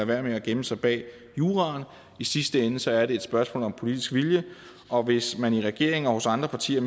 være med at gemme sig bag juraen i sidste ende er det et spørgsmål om politisk vilje og hvis man i regeringen og hos andre partier